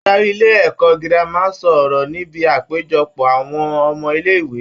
Adarí ilé-ẹ̀kọ́ girama ń sọ ọrọ níbi àpéjọpọ̀ àwọn ọmọ ilẹ̀-ìwé.